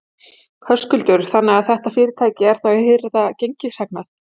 Höskuldur: Þannig að þetta fyrirtæki er þá að hirða gengishagnað?